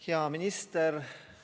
Hea minister!